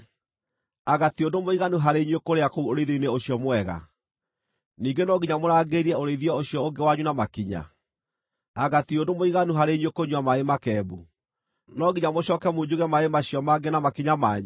Anga ti ũndũ mũiganu harĩ inyuĩ kũrĩa kũu ũrĩithio-inĩ ũcio mwega? Ningĩ no nginya mũrangĩrĩrie ũrĩithio ũcio ũngĩ wanyu na makinya? Anga ti ũndũ mũiganu harĩ inyuĩ kũnyua maaĩ makembu? No nginya mũcooke munjuge maaĩ macio mangĩ na makinya manyu?